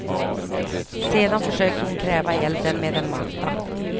Sedan försökte hon kväva elden med en matta.